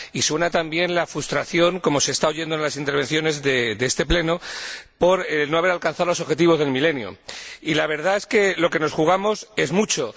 Y suena también la frustración, como se está oyendo en las intervenciones de este Pleno, por no haber alcanzado los Objetivos del Milenio. Y la verdad es que lo que nos jugamos es mucho.